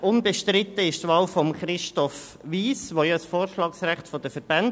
Unbestritten ist die Wahl von Christoph Wyss, hier besteht ein Vorschlagsrecht der Verbände.